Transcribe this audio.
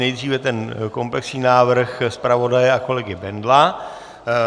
Nejdříve ten komplexní návrh zpravodaje a kolegy Bendla.